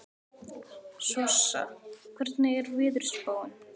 Sossa, hvernig er veðurspáin?